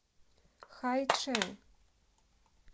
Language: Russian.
хайчэн